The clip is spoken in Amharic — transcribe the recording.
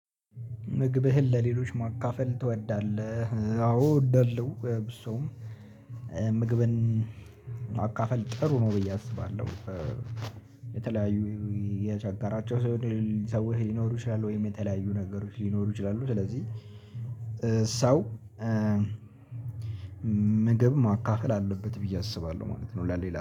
ምግብህን ለሌሎች ማካፈል ትወዳለህ? አዎ እወዳለሁ ብዙም ምግብን መካፈል ጥሩ ነው ብዬ አስባለሁ። የተለያዩ የቸጋራቸው ሰዎች ሊኖሩ ይችላሉ ወይም የተለያዩ ነገሮች ሊኖሩ ይችላሉ። ስለዚህ ሰው ምግብ ማካፈል አለበት ብዬ አስባለሁ ማለት ነው። ለሌላ